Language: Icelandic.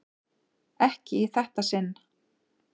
Ekki í þetta sinn.